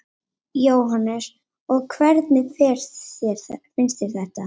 Jóhannes: Og hvernig finnst þér þetta?